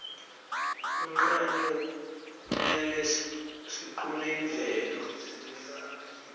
kunqani kutnele siqune imvelo